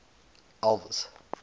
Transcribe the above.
elvis